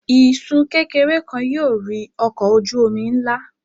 Isun kekere kan yóò rì ọkọ oju omi nla.